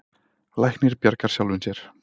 Læknir bjargar sjálfum sér.